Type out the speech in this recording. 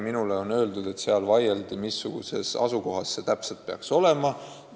Minule on öeldud, et seal vaieldi, mis asukohas see täpselt peaks olema.